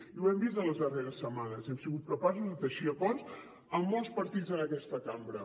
i ho hem vist en les darreres setmanes hem sigut capaços de teixir acords amb molts partits en aquesta cambra